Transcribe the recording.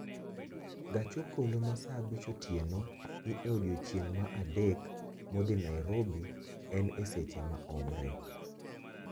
Gach okolo ma saa abich otieno ni e odiechieng' ma adek modhi nairobi en e seche maomre